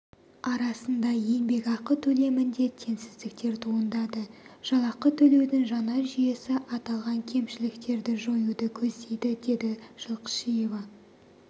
арасында еңбекақы төлемінде теңсіздіктер туындады жалақы төлеудің жаңа жүйесі аталған кемшіліктерді жоюды көздейді деді жылқышиева